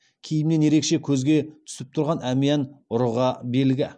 киімнен ерекше көзге түсіп тұрған әмиян ұрыға белгі